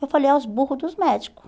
Eu falei, é os burro dos médico.